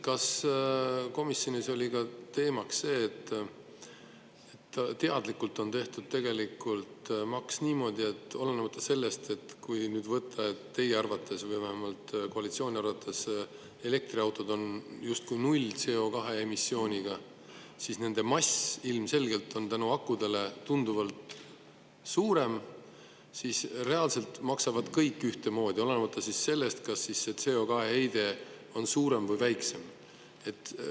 Kas komisjonis oli teemaks ka see, et teadlikult on tehtud maks niimoodi – olenemata sellest, et teie arvates või vähemalt koalitsiooni arvates on elektriautod justkui nullise CO2-emissiooniga, aga nende mass on ilmselgelt akude tõttu tunduvalt suurem –, et reaalselt maksavad kõik ühtemoodi, olenemata sellest, kas CO2-heide on suurem või väiksem?